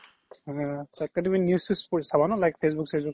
তাতকে তুমি news চিৱ্চ like facebook